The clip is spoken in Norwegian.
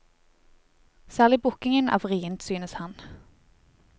Særlig bukkingen er vrient, synes han.